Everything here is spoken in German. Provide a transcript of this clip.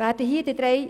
Werden hier in den drei